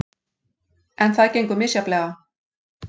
En það gengur misjafnlega.